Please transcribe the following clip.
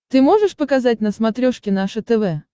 ты можешь показать на смотрешке наше тв